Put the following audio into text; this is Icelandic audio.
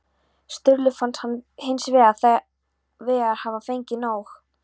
Sturlu fannst hann hins vegar hafa fengið nóg.